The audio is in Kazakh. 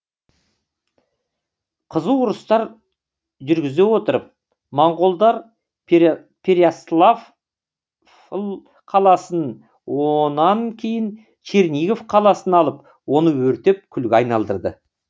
қызу ұрыстар жүргізе отырып монғолдар перяславль қаласын онан кейін чернигов қаласын алып оны өртеп күлге айналдырды